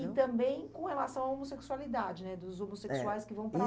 E também com relação à homossexualidade, né, dos homossexuais que vão para